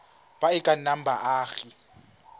ba e ka nnang baagi